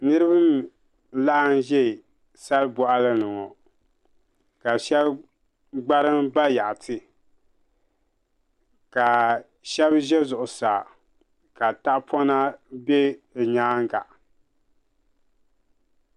Niraba n laɣam ʒɛ sal boɣali ni ŋo ka shab gbarim bayaɣati ka shab ʒɛ zuɣusaa ka tahapona bɛ bi nyaanga